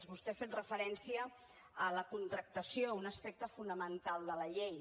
vostè ha fet referència a la contractació un aspecte fonamental de la llei